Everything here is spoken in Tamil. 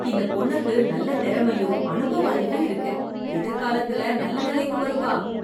இந்த பொண்ணுக்கு நல்ல திறமையும் அனுபவ அறிவும் இருக்கு... எதிர்காலத்துல நல்ல நிலைக்கு வருவா.